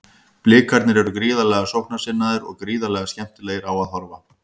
Blikarnir eru gríðarlega sóknarsinnaðir og gríðarlega skemmtilegir á að horfa.